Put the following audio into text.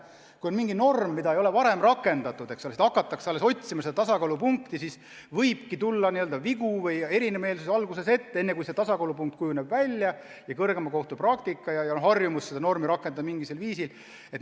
Kui on mingi norm, mida ei ole varem rakendatud, alles hakatakse otsima tasakaalupunkti, siis võibki tulla vigu või lahkarvamusi ette, enne kui tasakaalupunkt välja kujuneb ja tekib kohtupraktika ja harjumus teatud normi mingisugusel viisil rakendada.